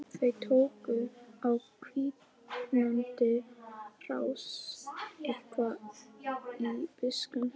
Þau tóku á hvínandi rás eitt- hvað út í buskann.